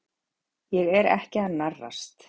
Ég er ekki að narrast.